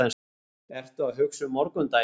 Ertu að hugsa um morgundaginn?